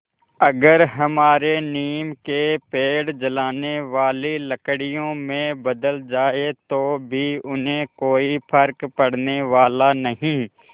अगर हमारे नीम के पेड़ जलाने वाली लकड़ियों में बदल जाएँ तो भी उन्हें कोई फ़र्क पड़ने वाला नहीं